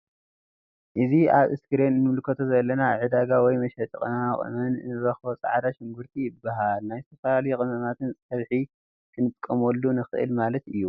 አእዚ አብ እስክሪን እንምልከቶ ዘለና አብ ዕዳጋ ወይ መሸጢ ቅመማ ቅመም እንረክቦ ፃዕዳ ሽጉሪቲ ይበሃል ናብ ዝተፈላለዩ ቅመማትን ፀብሒ ክንጥቀመሉ ንክእል ማለት እዩ::